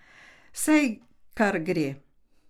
Saj kar gre.